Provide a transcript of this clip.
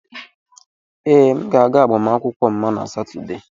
Ee, m ga-aga agbamakwụkwọ Mma na Satọde.